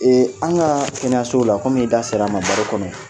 Ee an ka kɛnɛyaso la kom'i da ser'a ma baro kɔnɔ